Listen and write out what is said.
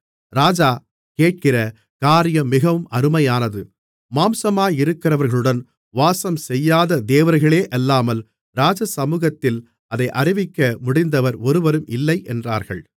ராஜா கேட்கிற காரியம் மிகவும் அருமையானது மாம்சமாயிருக்கிறவர்களுடன் வாசம்செய்யாத தேவர்களேயல்லாமல் ராஜசமுகத்தில் அதை அறிவிக்க முடிந்தவர் ஒருவரும் இல்லை என்றார்கள்